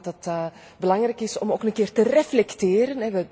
Ik denk dat het belangrijk is om ook een keer te reflecteren.